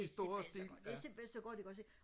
i stor stil ja